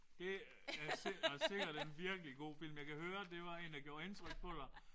Det er var sikkert en virkelig god film. Jeg kan høre det var en der gjorde indtryk på dig